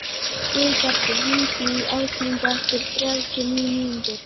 Guðbergur, hringdu í Ásmundu eftir þrjátíu og níu mínútur.